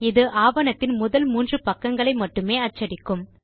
இது ஆவணத்தின் முதல் மூன்று பக்கங்களை மட்டுமே அச்சடிக்கும்